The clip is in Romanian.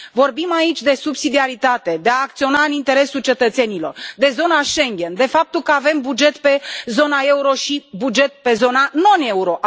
Vorbim aici de subsidiaritate, de a acționa în interesul cetățenilor, de zona Schengen, de faptul că avem buget pe zona euro și buget pe zona non euro.